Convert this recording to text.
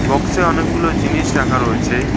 বক্সে অনেকগুলো জিনিস রাখা রয়েছে।